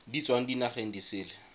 di tswang dinageng di sele